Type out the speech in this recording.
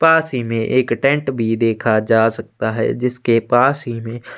पास ही मै एक टेंट भी देखा जा सकता है जिसके पास ही में--